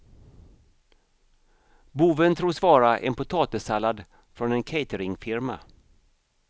Boven tros vara en potatissallad från en cateringfirma.